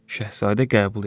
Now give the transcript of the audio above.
Şahzadə qəbul eləyir.